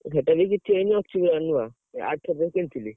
ଆଉ ସେଟା ବି କିଛି ହେଇନି ଅଛ ବା ନୂଆ ଆରଥରିକ କିଣି ଥିଲି।